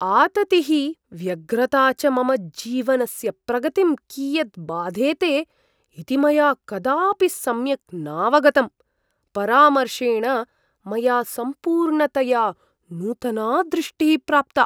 आततिः, व्यग्रता च मम जीवनस्य प्रगतिं कियत् बाधेते इति मया कदापि सम्यक् नावगतम्। परामर्शेण मया सम्पूर्णतया नूतना दृष्टिः प्राप्ता।